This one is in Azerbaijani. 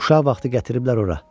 Uşaq vaxtı gətiriblər ora.